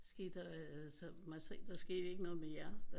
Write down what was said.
Skete der så der skete ikke noget med jer